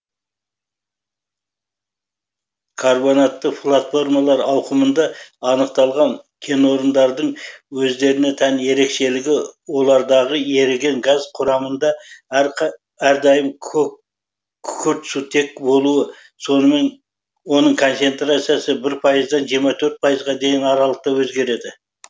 карбонатты платформалар ауқымында анықталған кенорындардың өздеріне тән ерекшелігі олардағы еріген газ құрамында әрдайым күкіртсутектің болуы сонымен оның концентрациясы бір пайыздан жиырма төрт пайызға дейінгі аралықта езгереді